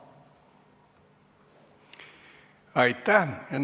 Aitäh!